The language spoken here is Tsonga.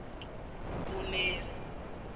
dzumeri